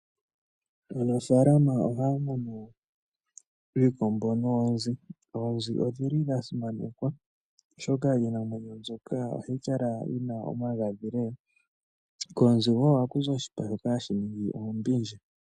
Aanafalama ohaya munu iikombo noonzi. Oonzi odhi li dha simanekwa, oshoka iinamwenyo mbyoka ohayi kala yi na omagadhi lela. Koonzi wo ohaku zi oshipa shoka hashi ningi oombindja.